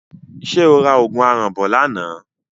Ṣé o ra òògùn aràn bọ̀ lánàá?